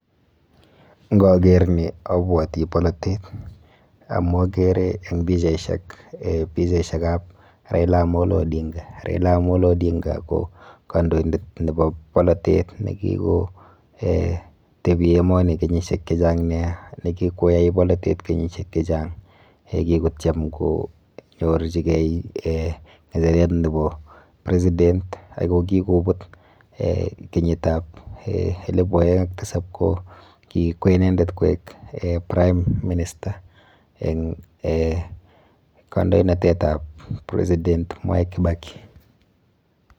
Ngoger ni abwoti bolatet amu agere eg pichaisiek , pichaishek ab Raila Amolo Odinga. Raila Amolo Odinga ko kandoindet nebo bolatet ne kiko tebi emoni kenyisiek che chang neaa ne kikuai bolatet kenyisiek che chang. Kikotyem konyorjigei ng'echeret nebo president ako kikubut kenyitab elipu oeng ak tisap ko kikwee inendet koek prime minister eng kandoinatetab president Mwai KIbaki.